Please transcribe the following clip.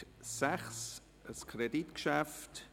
Es geht um ein Kreditgeschäft.